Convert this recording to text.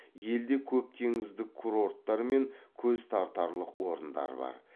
елде көп теңіздік курорттар мен көз тартарлық орындар бар